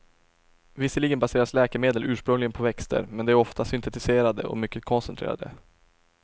Visserligen baseras läkemedel ursprungligen på växter, men de är ofta syntetiserade och mycket koncentrerade.